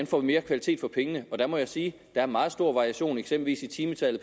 får mere kvalitet for pengene der må jeg sige at der er meget stor variation eksempel timetallet